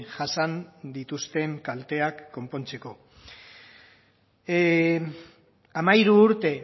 jasan dituzten kalteak konpontzeko hamairu urte